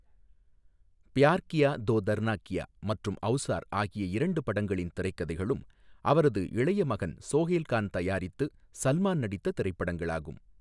பியார் கியா தோ தர்னா க்யா மற்றும் ஔசார் ஆகிய இரண்டு படங்களின் திரைக்கதைகளும் அவரது இளைய மகன் சோஹைல் கான் தயாரித்து சல்மான் நடித்த திரைப்படங்களாகும்.